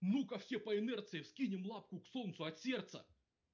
ну-ка все по инерции вскинем лапку к солнцу от сердца